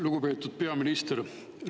Lugupeetud peaminister!